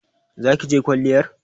Za ki je kwalliyar?